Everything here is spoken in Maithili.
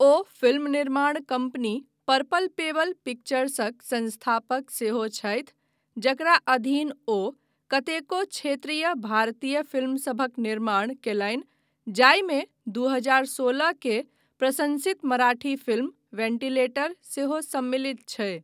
ओ फिल्म निर्माण कम्पनी पर्पल पेबल पिक्चर्सक संस्थापक सेहो छथि जकरा अधीन ओ कतेको क्षेत्रीय भारतीय फिल्मसभक निर्माण कयलनि जाहिमे दू हजार सोलहके प्रशंसित मराठी फिल्म वेंटिलेटर सेहो सम्मिलित छै।